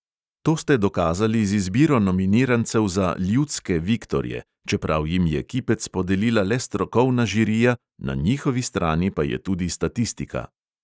To ste dokazali z izbiro nominirancev za "ljudske" viktorje, čeprav jim je kipec podelila le strokovna žirija, na njihovi strani pa je tudi statistika.